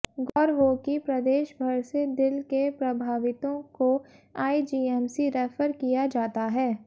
गौर हो कि प्रदेश भर से दिल के प्रभावितों को आईजीएमसी रैफर किया जाता है